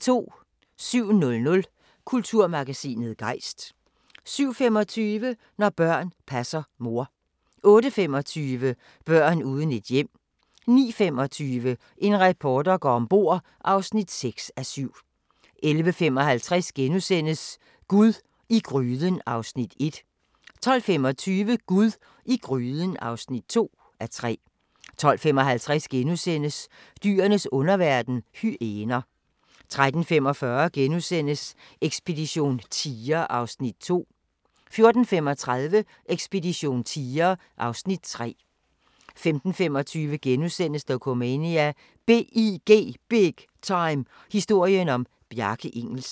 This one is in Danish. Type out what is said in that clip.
07:00: Kulturmagasinet Gejst 07:25: Når børn passer mor 08:25: Børn uden et hjem 09:25: En reporter går om bord (6:7) 11:55: Gud i gryden (1:3)* 12:25: Gud i gryden (2:3) 12:55: Dyrenes underverden – hyæner * 13:45: Ekspedition tiger (Afs. 2)* 14:35: Ekspedition tiger (Afs. 3) 15:25: Dokumania: BIG Time – historien om Bjarke Ingels *